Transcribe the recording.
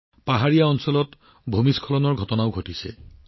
পাহাৰীয়া এলেকাত ভূমিস্খলনৰ ঘটনা সংঘটিত হৈছে